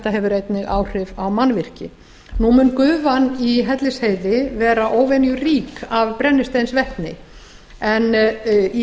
hefur einnig áhrif á mannvirki nú mun gufan í hellisheiði vera óvenju rík af brennisteinsvetni en í